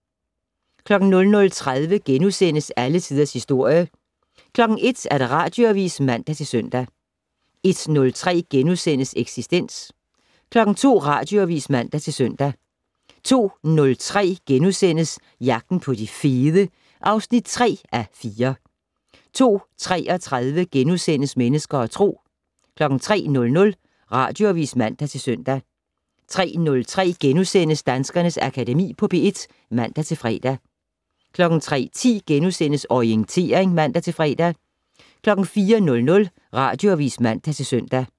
00:30: Alle Tiders Historie * 01:00: Radioavis (man-søn) 01:03: Eksistens * 02:00: Radioavis (man-søn) 02:03: Jagten på de fede (3:4)* 02:33: Mennesker og Tro * 03:00: Radioavis (man-søn) 03:03: Danskernes Akademi på P1 *(man-fre) 03:10: Orientering *(man-fre) 04:00: Radioavis (man-søn)